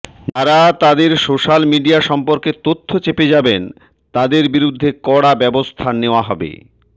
যারা তাদের social media সম্পর্কে তথ্য চেপে যাবেন তাদের বিরুদ্ধে কড়া ব্যবস্থা নেওয়া হবে